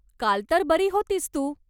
काल तर बरी होतीस तू?